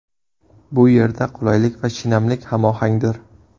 Bu yerda qulaylik va shinamlik hamohangdir.